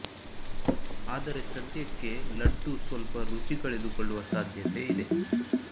ಆದರೆ ಸದ್ಯಕ್ಕೆ ಲಡ್ಡು ಸ್ವಲ್ಪ ರುಚಿ ಕಳೆದುಕೊಳ್ಳುವ ಸಾಧ್ಯತೆ ಇದೆ